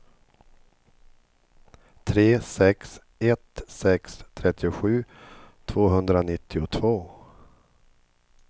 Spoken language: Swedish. tre sex ett sex trettiosju tvåhundranittiotvå